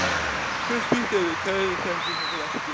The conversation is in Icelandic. Svo spýtti hann við tönn og settist á fletið.